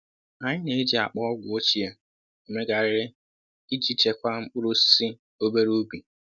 Anyị na-eji akpa ọgwụ ochie emegharịrị iji chekwaa mkpụrụ osisi obere ubi